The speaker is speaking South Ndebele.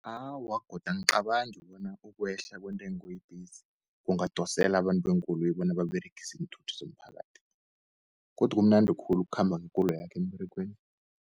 Awa godu angicabangi bona ukwehla kwentengo yebhesi kungadosele abantu beenkoloyi bona baberegise iinthuthi zomphakathi, godi kumnandi khulu ukukhamba ngekoloyakho emberegweni.